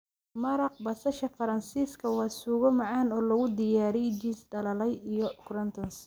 Maraq basasha Faransiiska waa suugo macaan oo lagu daray jiis dhalaalay iyo croutons.